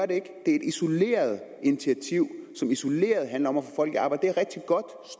det er et isoleret initiativ som isoleret handler om at få folk i arbejde